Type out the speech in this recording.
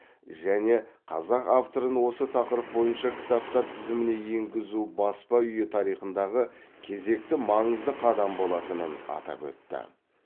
және қазақ авторын осы тақырып бойынша кітаптар тізіміне еңгізу баспа үйі тарихындағы кезекті маңызды қадам болатынын атап өтті